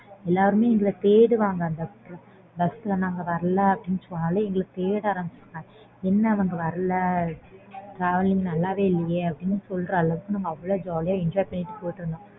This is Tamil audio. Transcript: எல்லாருமே எங்களை தேடுவாங்க bus ல நாங்க வரல அப்பிடின்னு சொன்னாலே எங்களை தேட ஆரம்பிச்சிடுவாங்க என்ன அவங்க வரல travelling நல்லாவே இல்லையே அப்பிடின்னு சொல்லுற அளவுக்கு நாங்க அவ்ள jolly யா enjoy பண்ணிட்டு போயிட்டு இருந்தோம்